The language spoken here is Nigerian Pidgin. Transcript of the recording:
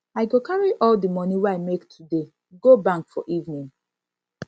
i go carry all di moni wey i make today go bank for evening